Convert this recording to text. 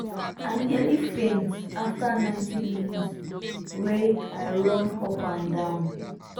i nearly faint after 90 minutes wey i run up and down